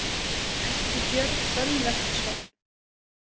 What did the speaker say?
Ekki Björn Bölverksson.